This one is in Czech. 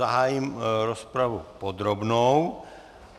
Zahájím rozpravu podrobnou.